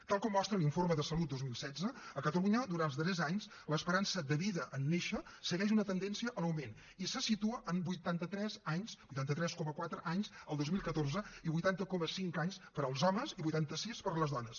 tal com mostra l’informe de salut dos mil setze a catalunya durant els darrers anys l’esperança de vida en néixer segueix una tendència a l’augment i se situa en vuitanta tres anys vuitanta tres coma quatre anys el dos mil catorze vuitanta coma cinc anys per als homes i vuitanta sis per a les dones